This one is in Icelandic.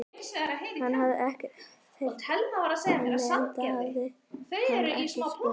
Hann hafði ekkert heyrt frá henni, enda hafði hann ekki spurt.